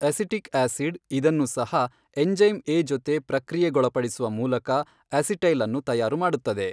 Acetic acid ಇದನ್ನು ಸಹ enzyme ಎ ಜೊತೆ ಪ್ರಕ್ರಿಯೆಗೊಳಪಡಿಸುವ ಮೂಲಕ ಅಸಿಟೈಲ್ ಅನ್ನು ತಯಾರು ಮಾಡುತ್ತದೆ.